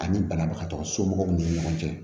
Ani banabagatɔ somɔgɔw ni ɲɔgɔn cɛ